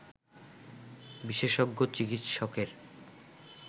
বিশেষজ্ঞ চিকিৎসকের